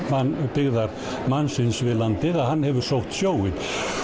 byggðar mannsins við landið hann hefur sótt sjóinn